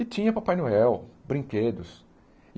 E tinha Papai Noel, brinquedos.